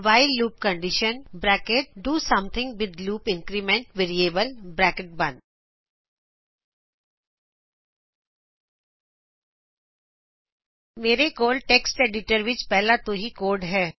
while loop condition do something with loop increment variable ਮੇਰੇ ਕੋਲ text editor ਵਿੱਚ ਪਹਿਲਾ ਤੋਂ ਹੀ ਕੋਡ ਹੈਂ